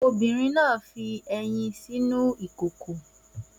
Obìnrin náà fi ẹyin sínú ìkòkò